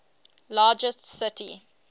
largest city